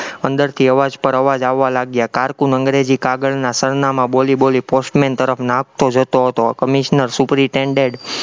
અંદરથી અવાજ પર અવાજ આવવા લાગ્યા, cocoon અંગ્રેજી કાગળના સરનામાં બોલી-બોલી postman તરફ આપતો જતો હતો, commissioner superintendent